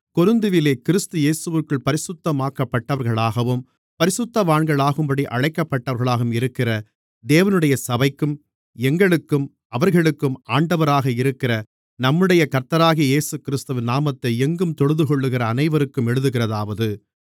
கொரிந்துவிலே கிறிஸ்து இயேசுவிற்குள் பரிசுத்தமாக்கப்பட்டவர்களாகவும் பரிசுத்தவான்களாகும்படி அழைக்கப்பட்டவர்களாகவும் இருக்கிற தேவனுடைய சபைக்கும் எங்களுக்கும் அவர்களுக்கும் ஆண்டவராக இருக்கிற நம்முடைய கர்த்தராகிய இயேசுகிறிஸ்துவின் நாமத்தை எங்கும் தொழுதுகொள்ளுகிற அனைவருக்கும் எழுதுகிறதாவது